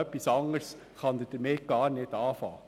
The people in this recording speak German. Etwas anderes kann er damit gar nicht anfangen.